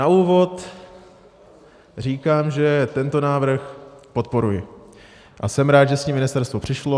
Na úvod říkám, že tento návrh podporuji a jsem rád, že s ním ministerstvo přišlo.